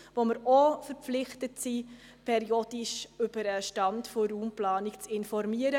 Auch hier sind wir verpflichtet, periodisch über den Stand der Raumplanung zu informieren.